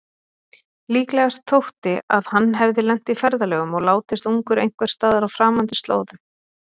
Líklegast þótti að hann hefði lent í ferðalögum og látist ungur einhversstaðar á framandi slóðum.